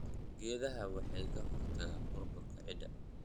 Geedaha waxay ka hortagaan burburka ciidda.